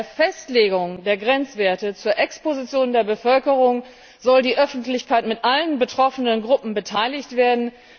Bei der Festlegung der Grenzwerte zur Exposition der Bevölkerung soll die Öffentlichkeit mit allen betroffenen Gruppen beteiligt werden.